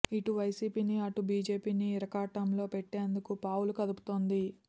ఇటు వైసీపీని అటు బిజెపిని ఇరకాటంలో పెట్టేందుకు పావులు కదుపుతోంది